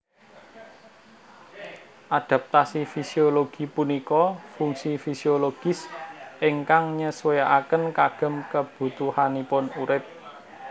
Adaptasi fisiologi punika fungsi fisiologis ingkang nyesuaiken kagem kebutuhanipun urip